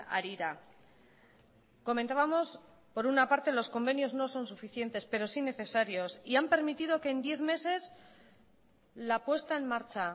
harira comentábamos por una parte los convenios no son suficientes pero sí necesarios y han permitido que en diez meses la puesta en marcha